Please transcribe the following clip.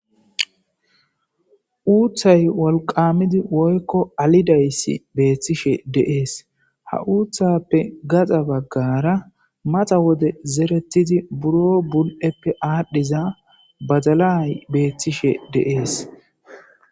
Uuththay wolqqaamizi woykko alidayshi beeththishe de7ees; ha uuththaappe gaxa baggaara matha wode zereththizi buroo bul7eppe aadhdhiza badalay beeththishe de7ees.